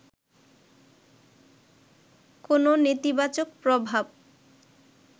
কোন নেতিবাচক প্রভাব